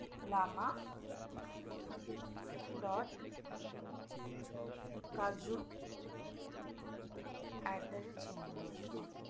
lama dot kaju at gmail dot com